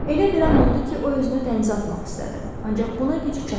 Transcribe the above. Elə bir an oldu ki, o özünü dənizə atmaq istədi, ancaq buna gücü çatmadı.